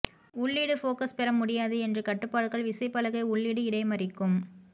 உள்ளீடு ஃபோகஸ் பெற முடியாது என்று கட்டுப்பாடுகள் விசைப்பலகை உள்ளீடு இடைமறிக்கும்